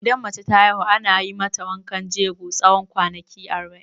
Idan mace ta haihu, ana mata wankan jego tsawon kwanaki arba'in.